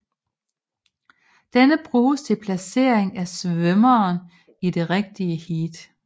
Denne bruges til placering af svømmeren i det rigtige heat